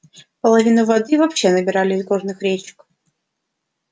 половину воды вообще набирали из горных речек